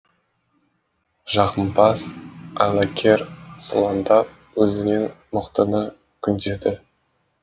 жағымпаз айлакер сылаңдап өзінен мықтыны күндеді